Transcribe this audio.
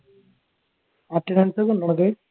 attendence ഒക്കെ ഉണ്ടോടാ നിനക്ക്